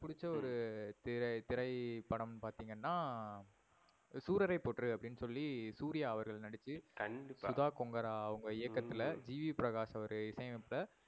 எனக்கு புடிச்ச ஒரு திரை திரைப்படம் பாத்தீங்கனா சூரறைபோற்று அப்டின்னு சொல்லி சூர்யா அவர்கள் நடிச்சி கண்டிப்பா சுதா கோங்கரா அவங்க இயக்கத்துல ஜீ. வி. பிரகாஷ் அவர்கள் இசை அமைப்புல